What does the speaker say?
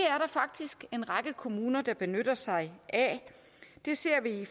faktisk en række kommuner der benytter sig af det ser vi i